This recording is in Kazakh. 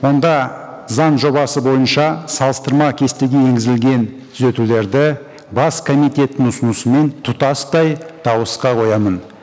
онда заң жобасы бойынша салыстырма кестеге енгізілген түзетулерді бас комитеттің ұсынысымен тұтастай дауысқа қоямын